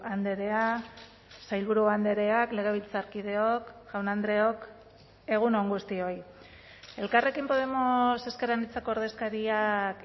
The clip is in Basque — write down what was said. andrea sailburu andreak legebiltzarkideok jaun andreok egun on guztioi elkarrekin podemos ezker anitzako ordezkariak